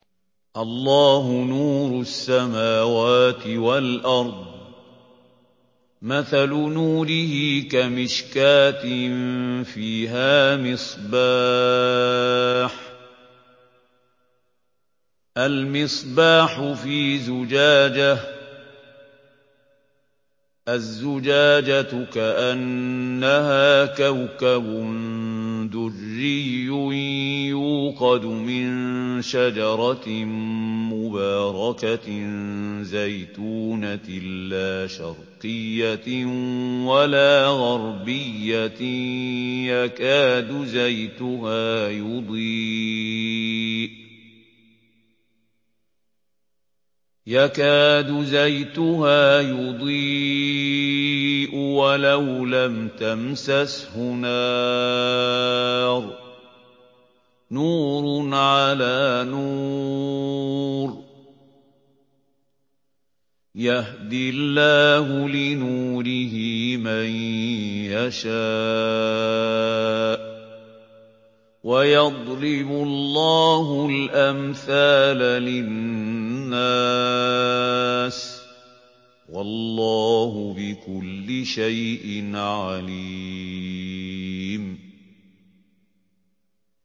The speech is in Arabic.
۞ اللَّهُ نُورُ السَّمَاوَاتِ وَالْأَرْضِ ۚ مَثَلُ نُورِهِ كَمِشْكَاةٍ فِيهَا مِصْبَاحٌ ۖ الْمِصْبَاحُ فِي زُجَاجَةٍ ۖ الزُّجَاجَةُ كَأَنَّهَا كَوْكَبٌ دُرِّيٌّ يُوقَدُ مِن شَجَرَةٍ مُّبَارَكَةٍ زَيْتُونَةٍ لَّا شَرْقِيَّةٍ وَلَا غَرْبِيَّةٍ يَكَادُ زَيْتُهَا يُضِيءُ وَلَوْ لَمْ تَمْسَسْهُ نَارٌ ۚ نُّورٌ عَلَىٰ نُورٍ ۗ يَهْدِي اللَّهُ لِنُورِهِ مَن يَشَاءُ ۚ وَيَضْرِبُ اللَّهُ الْأَمْثَالَ لِلنَّاسِ ۗ وَاللَّهُ بِكُلِّ شَيْءٍ عَلِيمٌ